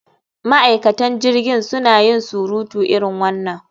Ma'aikatan jirgin suna yin sutura irin wannan